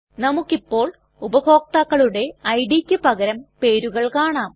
നമുക്കിപ്പോൾ ഉപഭോക്താക്കളുടെ idയ്ക്ക് പകരം പേരുകൾ കാണാം